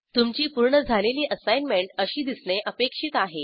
तुमची पूर्ण झालेली असाईनमेंट अशी दिसणे अपेक्षित आहे